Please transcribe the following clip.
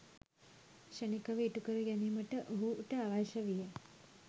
ක්‍ෂණිකව ඉටු කර ගැනීමට ඔහුට අවශ්‍ය විය.